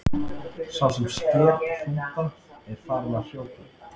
Sá sem sker hrúta er farinn að hrjóta.